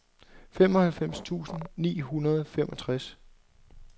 femoghalvfems tusind ni hundrede og femogtres